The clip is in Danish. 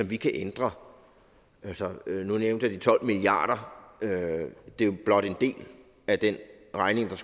vi kan ændre nu nævnte jeg de tolv milliard kr og det er blot en del af den regning der